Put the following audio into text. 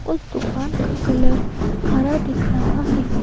उस दुकान का कलर हरा दिख रहा है।